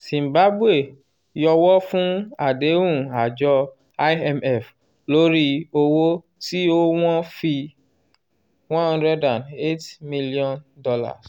zimbabwe yọ́wọ́ fún àdéhùn àjọ imf lórí owó tí ó wọ́n fi $108m